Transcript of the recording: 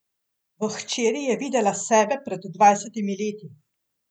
V hčeri je videla sebe pred dvajsetimi leti.